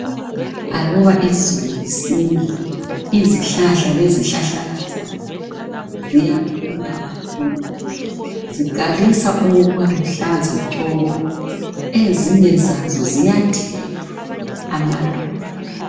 Aluba izulu lisina izihlahla lezihlahlakazana ziyakhula kakhulu. Ziqalisa ukuba luhlaza tshoko ezinye zazo ziyathela amaluba.